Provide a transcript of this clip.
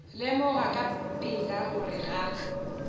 lemoga ka pela gore ga